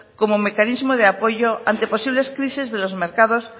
como mecanismo de apoyo ante posibles crisis de los mercados